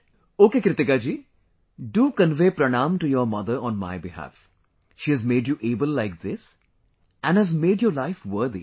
Ok Kritikaji, do convey Pranaam to your mother on my behalf, she has made you able like this and has made your life worthy